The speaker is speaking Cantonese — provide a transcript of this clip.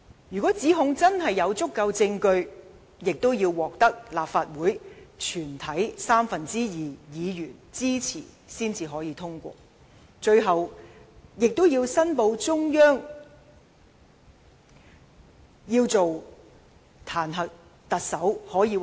如果指控有足夠證據，亦要獲立法會全體三分之二議員支持才可以通過，最後並報請中央決定解除特首職務。